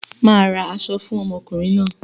Màá ra aṣọ fún ọmọkùnrin náà.